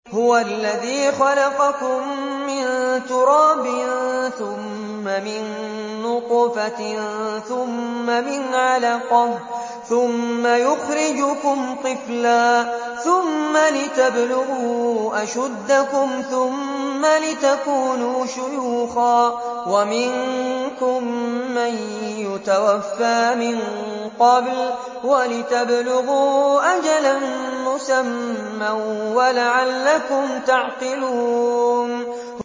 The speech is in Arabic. هُوَ الَّذِي خَلَقَكُم مِّن تُرَابٍ ثُمَّ مِن نُّطْفَةٍ ثُمَّ مِنْ عَلَقَةٍ ثُمَّ يُخْرِجُكُمْ طِفْلًا ثُمَّ لِتَبْلُغُوا أَشُدَّكُمْ ثُمَّ لِتَكُونُوا شُيُوخًا ۚ وَمِنكُم مَّن يُتَوَفَّىٰ مِن قَبْلُ ۖ وَلِتَبْلُغُوا أَجَلًا مُّسَمًّى وَلَعَلَّكُمْ تَعْقِلُونَ